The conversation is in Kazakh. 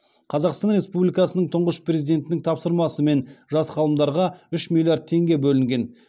қазақстан республикасының тұңғыш президентінің тапсырмасымен жас ғалымдарға үш миллиард теңге бөлінген